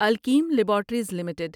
Alkem laboratories limited